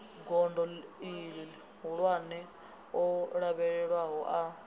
gondo ihulwane o lavhelelwaho a